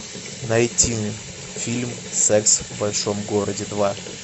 найти фильм секс в большом городе два